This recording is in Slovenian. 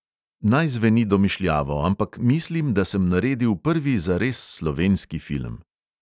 Naj zveni domišljavo, ampak mislim, da sem naredil prvi zares slovenski film.